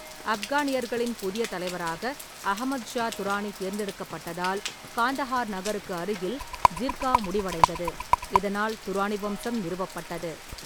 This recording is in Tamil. ஆப்கானியர்களின் புதிய தலைவராக அகமது ஷா துரானி தேர்ந்தெடுக்கப்பட்டதால் காந்தஹார் நகருக்கு அருகில் ஜிர்கா முடிவடைந்தது, இதனால் துரானி வம்சம் நிறுவப்பட்டது.